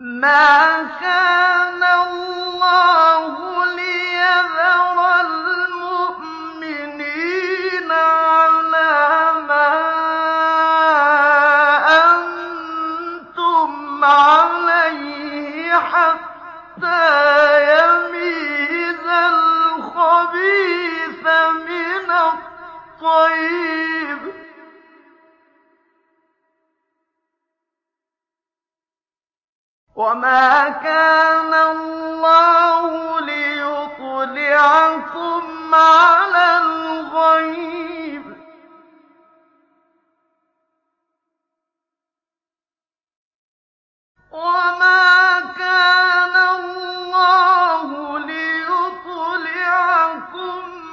مَّا كَانَ اللَّهُ لِيَذَرَ الْمُؤْمِنِينَ عَلَىٰ مَا أَنتُمْ عَلَيْهِ حَتَّىٰ يَمِيزَ الْخَبِيثَ مِنَ الطَّيِّبِ ۗ وَمَا كَانَ اللَّهُ لِيُطْلِعَكُمْ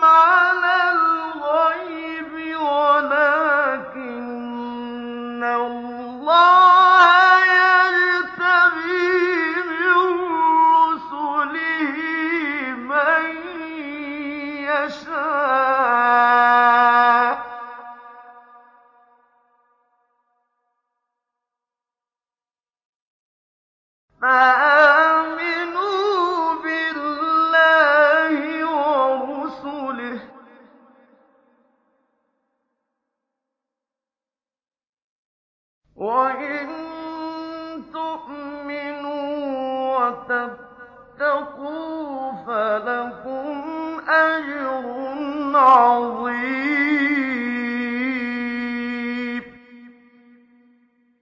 عَلَى الْغَيْبِ وَلَٰكِنَّ اللَّهَ يَجْتَبِي مِن رُّسُلِهِ مَن يَشَاءُ ۖ فَآمِنُوا بِاللَّهِ وَرُسُلِهِ ۚ وَإِن تُؤْمِنُوا وَتَتَّقُوا فَلَكُمْ أَجْرٌ عَظِيمٌ